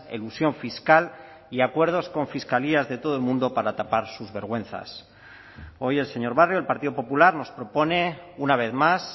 elusión fiscal y acuerdos con fiscalías de todo el mundo para tapar sus vergüenzas hoy el señor barrio del partido popular nos propone una vez más